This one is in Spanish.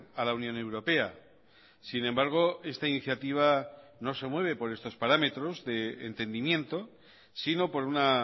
a la unión europea sin embargo esta iniciativa no se mueve por estos parámetros de entendimiento sino por una